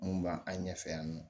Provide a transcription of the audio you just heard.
Mun b'a an ɲɛfɛ yan nɔ